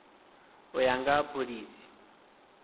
u ya nga ha phoḽisi